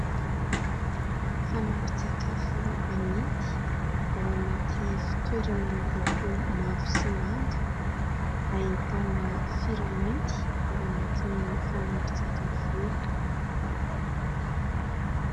Fanampin-tsakafo amidy ao anaty fitoerany miloko mavo sy manga. Ahitana sira mainty ao anatin'io fanampin-tsakafo io.